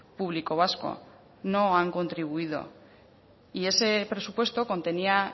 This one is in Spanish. público vasco no han contribuido y ese presupuesto contenía